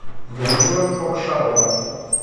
людмила кокшарова